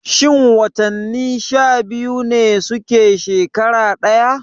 Shin watanni sha biyu ne suke shekara ɗaya?